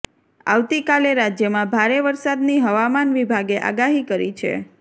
આવતીકાલે રાજ્યમાં ભારે વરસાદની હવામાન વિભાગે આગાહી કરી છે